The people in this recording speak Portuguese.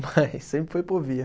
Mas sempre foi Povia.